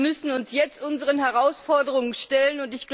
Wir müssen uns jetzt unseren Herausforderungen stellen.